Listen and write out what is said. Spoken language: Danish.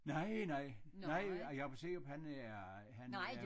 Nej nej nej Jakob Seerup han er han er